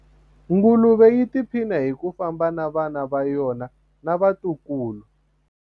nguluve yi tiphina hi ku famba na vana va yona na vatukulu